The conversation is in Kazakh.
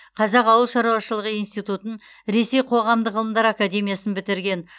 қазақ ауыл шаруашылығы институтын ресей қоғамдық ғылымдар академиясын бітірген